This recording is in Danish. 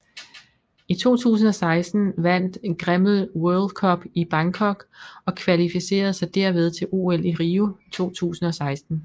I 2016 vandt Grimmel World Cup i Bangkok og kvalificerede sig derved til OL i Rio 2016